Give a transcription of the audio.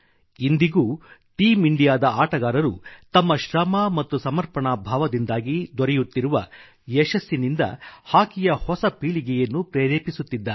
ಇಂದಿಗೂ ಟೀಂ ಇಂಡಿಯಾದ ಆಟಗಾರರು ತಮ್ಮ ಶ್ರಮ ಮತ್ತು ಸಮರ್ಪಣಾ ಭಾವದಿಂದಾಗಿ ದೊರೆಯುತ್ತಿರುವ ಯಶಸ್ಸಿನಿಂದ ಹಾಕಿಯ ಹೊಸ ಪೀಳಿಗೆಯನ್ನು ಪ್ರೇರೆಪಿಸುತ್ತಿದ್ದಾರೆ